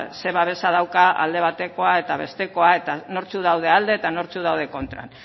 zer babesa daukan alde batekoa eta bestekoa eta nortzuk dauden alde eta nortzuk dauden kontra